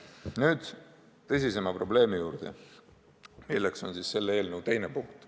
Nüüd aga tõsisema probleemi juurde, milleks on selle eelnõu esimese punkti teine lõige.